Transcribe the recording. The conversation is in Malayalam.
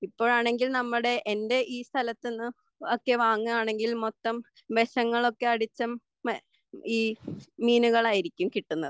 ഇപ്പോഴാണെങ്കിൽ നമ്മുടെ എൻ്റെ ഈ സ്തലത്തുനിന്നൊക്കെ വാങ്ങുകയാണെങ്കിൽ മൊത്തം വിഷങ്ങളൊക്കെ അടിച്ച ഈ മീനുകളായിരിക്കും കിട്ടുന്നത്